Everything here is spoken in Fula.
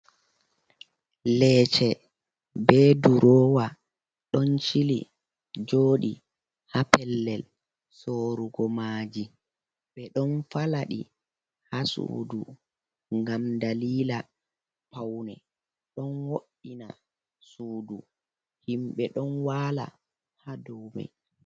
Leece be durowa don chili jodi ha pellel sorugo maji, ɓe ɗon falaɗi ha sudu ngam dalila paune, ɗon wo'ina sudu, himbe ɗon wala ha daume.